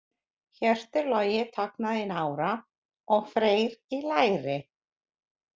Hjörtur Logi tognaði í nára og Freyr í læri.